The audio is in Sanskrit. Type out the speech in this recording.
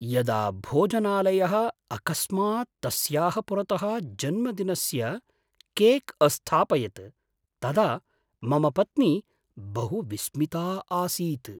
यदा भोजनालयः अकस्मात् तस्याः पुरतः जन्मदिनस्य केक् अस्थापयत् तदा मम पत्नी बहु विस्मिता आसीत्।